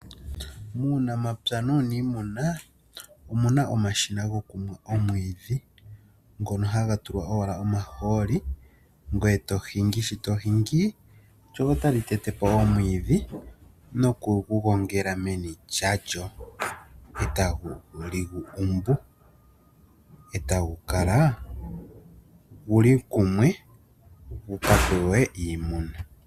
Muunamapya nuunimuna omuna omashina ngokunwa omwidhi ngono hanga tulwa owala omaholi ngweye tohingi, sho tohingi lyo otali yetepo omwidhi noku ngu gongela meni lyalyo eta ngu lyikumbu otangu Kala nguli kumwe ngukapewe iimuna.